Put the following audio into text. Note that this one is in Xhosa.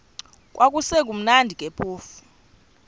kwakusekumnandi ke phofu